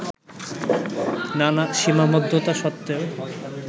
নানা সীমাবদ্ধতা সত্ত্বেও